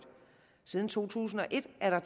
siden to tusind og et er der